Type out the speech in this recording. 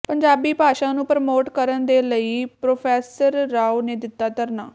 ਪੰਜਾਬੀ ਭਾਸ਼ਾ ਨੂੰ ਪ੍ਰਮੋਟ ਕਰਨ ਦੇ ਲਈ ਪ੍ਰੋ ਰਾਓ ਨੇ ਦਿੱਤਾ ਧਰਨਾ